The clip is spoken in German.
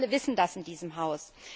Wir alle wissen das in diesem Haus.